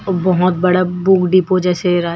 अ बहोत बड़ा book depot जैसे रा--